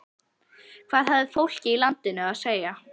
Hvað hafði fólkið í landinu að segja?